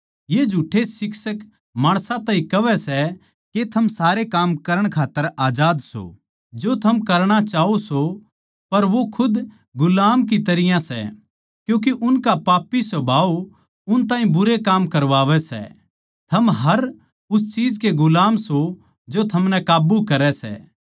ये झुठ्ठे शिक्षक माणसां ताहीं कहवै सै के थम सारे काम करण खात्तर आजाद सों जो थम करणा चाहों सों पर वो खुद गुलाम की तरियां सै क्यूँके उनका पापी सुभाव उन ताहीं बुरे काम करवावै सै थम हर उस चीज के गुलाम सों जो थमनै काब्बू करै सै